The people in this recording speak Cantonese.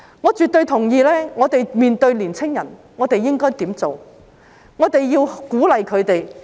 我絕對同意，面對年青人，我們應該鼓勵他們望國際、望神州、望世代。